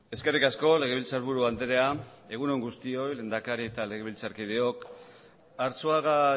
eskerrik asko legebiltzarburu andrea egun on guztioi lehendakari eta legebiltzarkideok arzuaga